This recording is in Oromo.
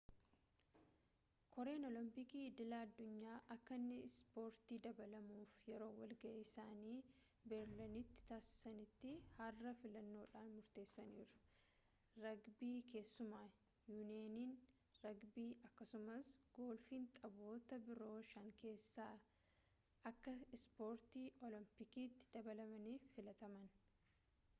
koreen oolompikii idil-addunyaa akka inni ispoortitti dabalamuuf yeroo wal ga'ii isaanii beerliniiti taasisaanitti har'a filannoodhaan murteessaniiru ragbii keessumaa yuuniyeniin ragbii akkasumaas golfiin taphoota biroo shankeessaa akka ispoortii oolompikiitti dabalamaniif filataman